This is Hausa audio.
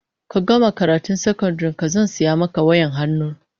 Ka gama karatun sakandaren ka zan saya maka wayar hannu